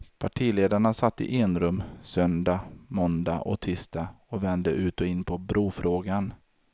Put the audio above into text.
Partiledarna satt i enrum, söndag, måndag och tisdag och vände ut och in på brofrågan.